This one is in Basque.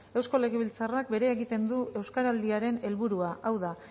eusko legebiltzarrak berea egiten du euskaraldiaren helburua hau da